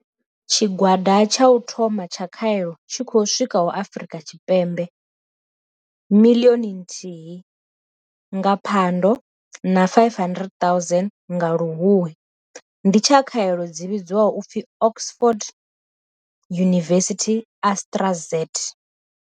Tshigwada tsha u thoma tsha khaelo tshi khou swikaho Afrika Tshipembe miḽioni nthihi nga Phando na 500 000 nga Luhuhi ndi tsha khaelo dzi vhidzwaho u pfi Oxford University-AstraZ.